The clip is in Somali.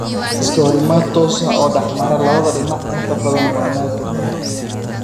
Iska horimaad toos ah oo dhexmara labada dhinac inta badan waa naadir.